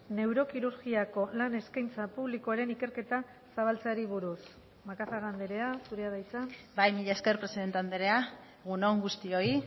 neurokirurgiako lan eskaintza publikoaren ikerketa zabaltzeari buruz macazaga andrea zurea da hitza bai mila esker presidente andrea egun on guztioi